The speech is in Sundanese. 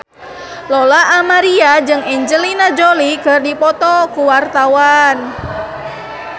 Lola Amaria jeung Angelina Jolie keur dipoto ku wartawan